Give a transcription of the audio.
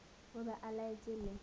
o be o laetše le